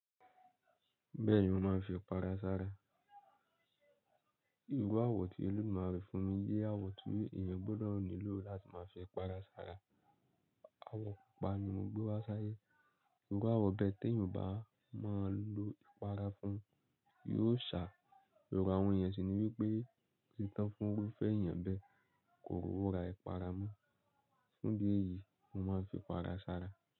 Bẹ́ẹ̀ni mo máa ń fi ipara sára. Ìru àwọ̀ tí eledumare fún mi jé àwọ̀ tí èèyàn gbudọ̀ nílò láti máa fi ipara sára. Awọ̀ pupa ni mo gbé wá sáyé. Ìru àwọ̀ bẹ́ẹ̀ tí èèyàn o bá máa lo ìpara fún, yóò ṣà. Ero àwọn eeyan sì ni wípé, otí tán fún orufe eeyan bẹ́ẹ̀, kò ròwo ra ìpara mon. Fún idí eyìí, mo máa ń fi ipara sára.